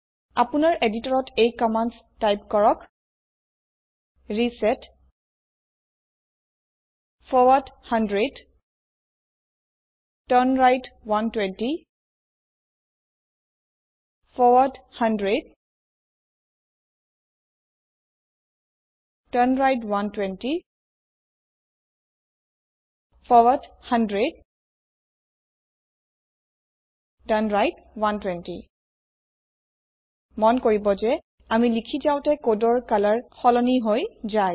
আপোনাৰ এদিটৰত এই কম্মান্দ টাইপ কৰক reset forward 100 turn right 120 forward 100 turn right 120 forward 100 turn right 120 মন কৰিব যে আমি লিখি যাওঁতে কোডৰ কালাৰ সলনি বদলি হৈ যায়